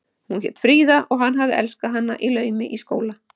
Hún hét Fríða og hann hafði elskað hana í laumi í skóla.